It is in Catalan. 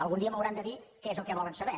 algun dia m’hauran de dir què és el què volen saber